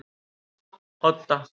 Odda